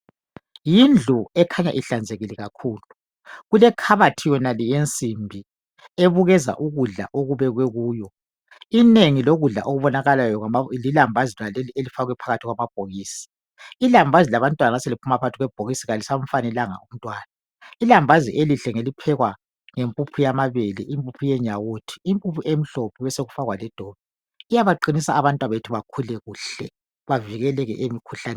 Yindlu ekhanya ihlanzekileyo kakhulu. Kulekhabathi yonale yensimbi, ebukeza ukudla okubekwe kuyo. lnengi lokudla, okubonakalayo, kuyo, lilambazi lonaleli elifakwe phakathi kwamabhokisi. llambazi labantwana nxa selophuma phakathi kwebhokisi, kalisamfanelanga umntwana. Ilambazi elihle ngeliphekwa ngempuphu yamabele, impuphu yenyawuthi, impuphu emhlophe , besekufakwa ledobi. Iyabaqinisa abantwabethu. Bakhule kuhle. Bavikeleke lemkhuhlaneni.